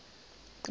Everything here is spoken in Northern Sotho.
ke mong ga e na